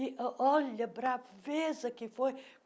E o olha a braveza que foi.